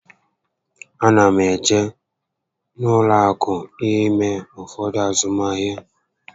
A na m eje n'ụlọ akụ ime ụfọdụ azụmahịa